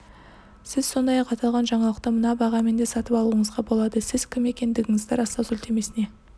сіз сондай-ақ аталған жаңалықты мына бағамен де сатып алуыңызға болады сіз кім екендігіңізді растау сілтемесіне